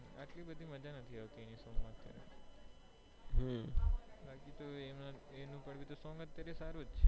આટલી બધી મજ્જા નથી આવત્તિ એના song માં તે બાકી તો એનું song સારું છે